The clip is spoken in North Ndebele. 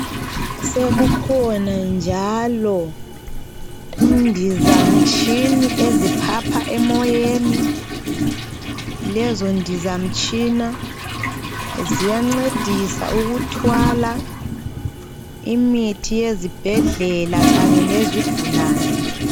Sekukhona njalo indizamtshini eziphapha emoyeni. Lezondizamtshina ziyancedisa ukuthwala imithi yezibhedlela kanye lezigulane.